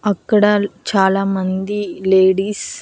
అక్కడ చాలామంది లేడీస్ .